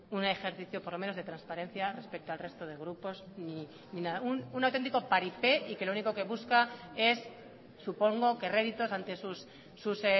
un ejercicio por lo menos de transparencia respecto al resto de grupos ni nada un auténtico paripé y que lo único que busca es supongo que réditos antes sus